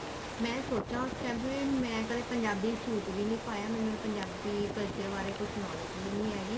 ਮੈਂ ਸੋਚਾ ਉਸ time ਵੀ ਮੈਂ ਕਦੇ ਪੰਜਾਬੀ ਸੂਟ ਵੀ ਨੀ ਪਾਇਆ ਮੈਨੂੰ ਪੰਜਾਬੀ culture ਬਾਰੇ ਕੁੱਝ knowledge ਵੀ ਨੀ ਹੈਗੀ